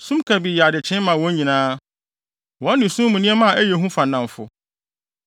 Sum kabii yɛ adekyee ma wɔn nyinaa; wɔne sum mu nneɛma a ɛyɛ hu fa nnamfo.